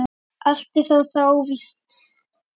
Allt er það þó óvíst.